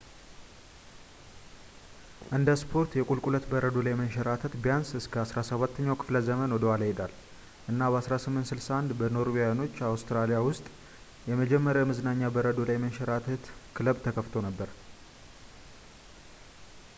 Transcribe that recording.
እንደ ስፖርት የቁልቁለት በረዶ ላይ መንሸራተት ቢያንስ እስከ 17ኛው ክፍለ ዘመን ወደኋላ ይሄዳል እና በ1861 በኖርዌያኖች አውስትራሊያ ውስጥ የመጀመሪያው የመዝናኛ በረዶ ላይ መንሸራተት ክለብ ተከፍቶ ነበር